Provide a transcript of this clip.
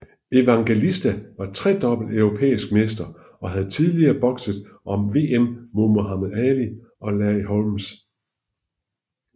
Evangelista var tredobbelt europæisk mester og havde tidligere bokset om VM mod Muhammad Ali og Larry Holmes